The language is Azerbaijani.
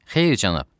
Xeyr, cənab.